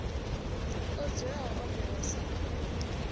o dzulaho o vhewa sa